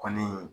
Kɔni